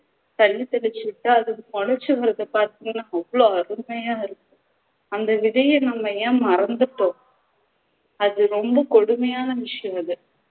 தண்ணி தொழிச்சி விட்டா அது மொலைச்சு வர்றதை பாத்திங்கண்ணா அவ்வளவு அருமையா இருக்கும் அந்த விதையை நம்ம ஏன் மறந்துட்டோம் அது ரொம்ப கொடுமையான விஷயம் அது